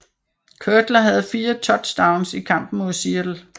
Cutler havde 4 touchdowns i kampen mod Seattle